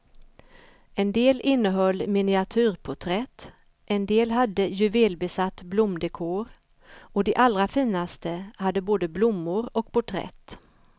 En del innehöll miniatyrporträtt, en del hade juvelbesatt blomdekor, och de allra finaste hade både blommor och porträtt.